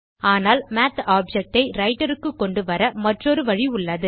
ஆனால் math object ஐ writer க்கு கொண்டுவர மற்றொரு வழி உள்ளது